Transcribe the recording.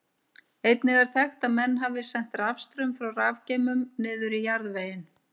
Einnig er þekkt að menn hafi sent rafstraum frá rafgeymum niður í jarðveginn.